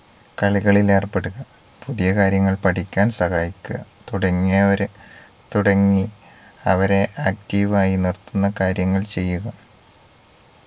കളികളിൽ ഏർപ്പെടുക പുതിയ കാര്യങ്ങൾ പഠിക്കാൻ സഹായിക്കുക തുടങ്ങിയവരെ തുടങ്ങി അവരെ active ആയി നിർത്തുന്ന കാര്യങ്ങൾ ചെയ്യുക